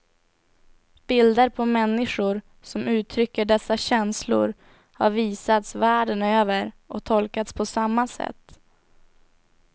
Bilder på människor som uttrycker dessa känslor har visats världen över och tolkats på samma sätt.